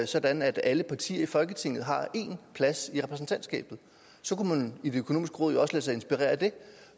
sådan at alle partier i folketinget har én plads i repræsentantskabet så kunne man i det økonomiske råd jo også lade sig inspirere af det